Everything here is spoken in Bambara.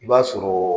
I b'a sɔrɔ